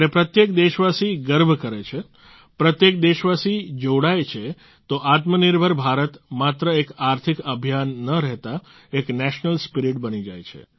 જ્યારે પ્રત્યેક દેશવાસી ગર્વ કરે છે પ્રત્યેક દેશવાસી જોડાય છે તો આત્મનિર્ભર ભારત માત્ર એક આર્થિક અભિયાન ન રહેતા એક નેશનલ સ્પિરીટ બની જાય છે